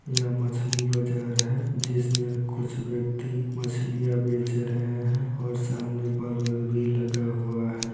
यह मछली बाजार है जिस मै कुछ व्यक्ति मछलिया बेच रहे है और सामने बल्ब भी लगा हुआ है।